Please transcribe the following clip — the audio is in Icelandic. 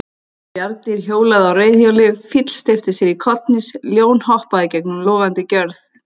Bjarndýr hjólaði á reiðhjóli, fíll steypti sér kollhnís, ljón hoppaði gegnum logandi gjörð.